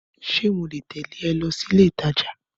Ṣé mole tẹ̀lẹ́ ọ lọ sílé ìtajà?